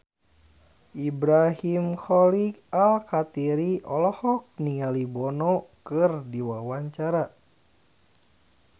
Ibrahim Khalil Alkatiri olohok ningali Bono keur diwawancara